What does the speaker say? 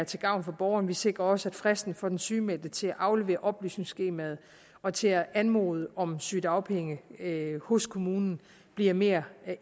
til gavn for borgerne vi sikrer også at fristen for den sygemeldte til at aflevere oplysningsskemaet og til at anmode om sygedagpenge hos kommunen bliver mere